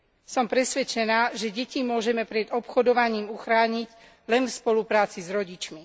Som presvedčená, že deti môžeme pred obchodovaním uchrániť len v spolupráci s rodičmi.